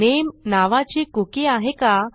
नामे नावाची कुकी आहे का